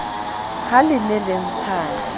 ha le ne le ntshana